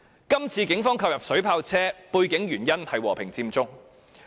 這次警方購入水炮車，背後的原因是和平佔中。